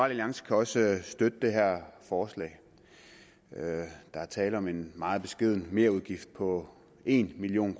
alliance kan også støtte det her forslag der er tale om en meget beskeden merudgift på en million